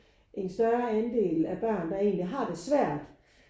En større andel af børn der egentlig har det svært